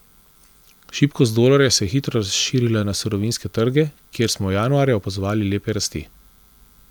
Šibkost dolarja se je hitro razširila na surovinske trge, kjer smo januarja opazovali lepe rasti.